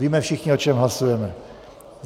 Víme všichni, o čem hlasujeme.